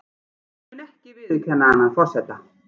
Mun ekki viðurkenna annan forseta